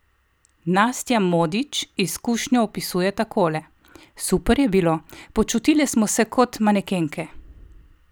Nastja Modič izkušnjo opisuje takole: "Super je bilo, počutile smo se kot manekenke.